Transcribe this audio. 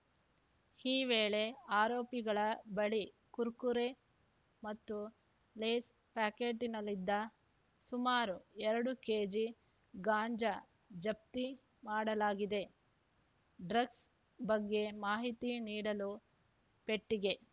ಈ ವೇಳೆ ಆರೋಪಿಗಳ ಬಳಿ ಕುರ್ಕುರೆ ಮತ್ತು ಲೇಸ್‌ ಪ್ಯಾಕೆಟ್‌ನಲ್ಲಿದ್ದ ಸುಮಾರು ಎರಡು ಕೆಜಿಗಾಂಜಾ ಜಪ್ತಿ ಮಾಡಲಾಗಿದೆ ಡ್ರಗ್ಸ್‌ ಬಗ್ಗೆ ಮಾಹಿತಿ ನೀಡಲು ಪೆಟ್ಟಿಗೆ